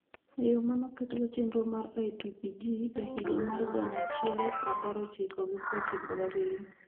e yo ma ne oketgo chenro mar IPPG e higa mar gana achiel prapar ochiko gi prochiko gabiriyo.